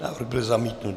Návrh byl zamítnut.